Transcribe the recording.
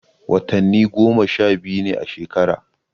Watanni goma sha biyu ne a shekara.